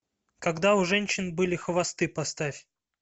когда у женщин были хвосты поставь